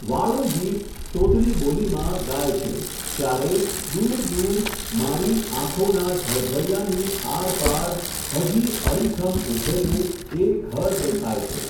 વાળું ગીત, તોતડી બોલીમાં, ગાય છે, ત્યારે, દૂર દૂર, મારી, આંખોનાં, ઝળઝળિયાંની, આરપાર, હજી, અડીખમ ઊભેલું, એ, ઘર દેખાય છે!.